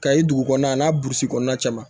Kayi dugu kɔnɔna a n'a burusi kɔnɔna cɛman